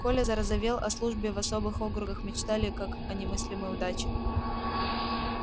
коля зарозовел о службе в особых округах мечтали как о немыслимой удаче